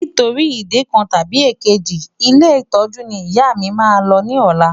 Nítorí ìdí kan tàbí èkejì, ilé ìtọ́jú ni ìyá mi máa lọ ní ọ̀la.